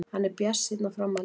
Hann er bjartsýnn á framhaldið.